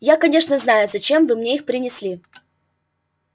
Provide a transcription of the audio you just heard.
я конечно знаю зачем вы мне их принесли